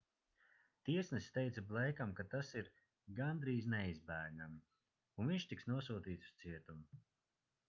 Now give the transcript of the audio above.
tiesnesis teica bleikam ka tas ir gandrīz neizbēgami un viņš tiks nosūtīts uz cietumu